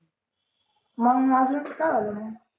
मंग माझंच काय झालं मंग